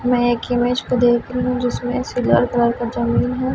मैं एक इमेज को देख रही हूं जिसमें सिल्वर कलर का जमीन है।